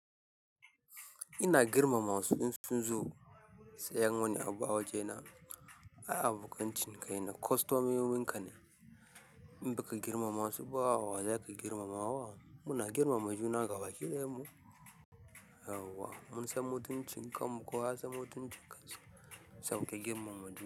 Ina girmama wasu in zo, sayan wani abu a waje na, ai abokan cinikai na, kwastomomin ka ne. In baka girmama suba, wa za ka girmama wa? Muna girmama juna gabaki ɗayan mu, mun san mutuncin kan mu, kowa ya san mutuncin kansa. Tam ka girmama ju.